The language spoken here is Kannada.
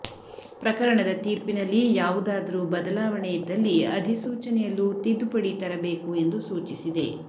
ಪ್ರಕರಣದ ತೀರ್ಪಿನಲ್ಲಿ ಯಾವುದಾದರೂ ಬದಲಾವಣೆಯಿದ್ದಲ್ಲಿ ಅಧಿಸೂಚನೆಯಲ್ಲೂ ತಿದ್ದುಪಡಿ ತರಬೇಕು ಎಂದು ಸೂಚಿಸಿದೆ